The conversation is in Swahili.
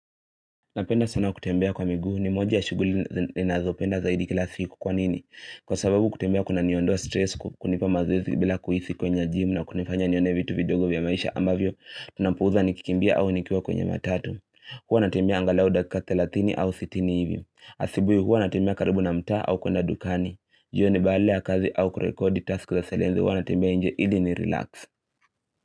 Napenda sana kutembea kwa miguu ni moja ya shughuli ninazopenda zaidi kila siku kwa nini. Kwa sababu kutembea kunaniondoa stress kwa kunipa mazoezi bila kuhisi kwenda gym na kunifanya nione vitu video vya maisha ambavyo ninapuuza nikikimbia au nikiwa kwenye matatu. Huwa natembea angalau dakika thelathini au sitini hivyo. Asubuhi huwa natembea karibu na mtaa au kwenda dukani. Jioni baada ya kazi au kurekodi task za selenzi hua natembea nje ili ni relax.